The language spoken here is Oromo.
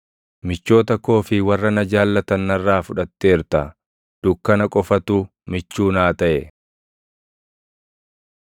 Michoota koo fi warra na jaallatan narraa fudhatteerta; dukkana qofatu michuu naa taʼe.